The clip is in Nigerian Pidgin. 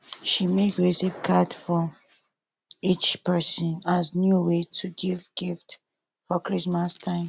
she make recipe cards for each person as new way to give gift for christmas time